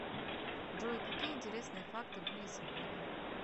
джой какие интересные факты были сегодня